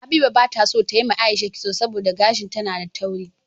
Habiba bata so tayi wa aisha kitso saboda gashin ta na da tauri